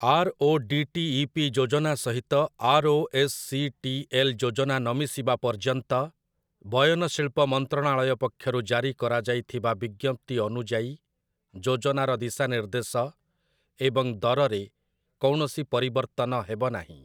RODTEP. ଯୋଜନା ସହିତ ROSCTL. ଯୋଜନା ନମିଶିବା ପର୍ଯ୍ୟନ୍ତ, ବୟନ ଶିଳ୍ପ ମନ୍ତ୍ରଣାଳୟ ପକ୍ଷରୁ ଜାରି କରାଯାଇଥିବା ବିଜ୍ଞପ୍ତି ଅନୁଯାୟୀ ଯୋଜନାର ଦିଶାନିର୍ଦ୍ଦେଶ ଏବଂ ଦରରେ କୌଣସି ପରିବର୍ତ୍ତନ ହେବ ନାହିଁ ।